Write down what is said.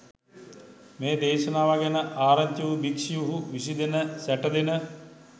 මේ දේශනාව ගැන ආරංචි වූ භික්ෂූහු විසිදෙන සැටදෙන